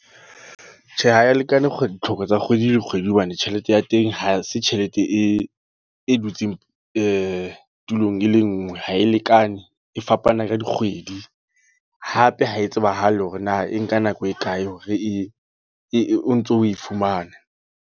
Tjhe, ha ya lekana ditlhoko tsa kgwedi le kgwedi. Hobane tjhelete ya teng ha se tjhelete e, e dutseng tulong e le nngwe. Ha e lekane, e fapana ka dikgwedi. Hape ha e tsebahale hore na e nka nako e kae hore e o ntso o e fumana.